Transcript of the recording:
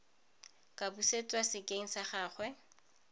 ka busetswa sekeng sa gagwe